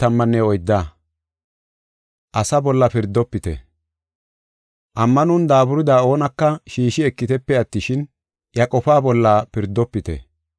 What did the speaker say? Ammanon daaburida oonaka shiishi ekitepe attishin, iya qofaa bolla pirdofite.